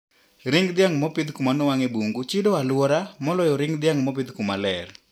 Ring dhiang` mopidh kuma nowang`e bungu chido aluora moloyo ring dhiang` mopidh kumaler.